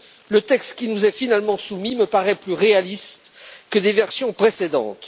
Le texte qui nous est finalement soumis me paraît plus réaliste que les versions précédentes.